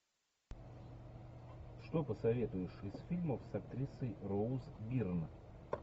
что посоветуешь из фильмов с актрисой роуз бирн